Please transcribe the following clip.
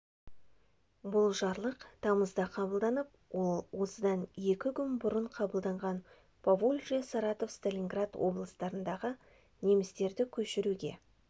бұл жарлық тамызда қабылданып ол осыдан екі күн бұрын қабылданған поволжье саратов сталинград облыстарындағы немістерді көшіруге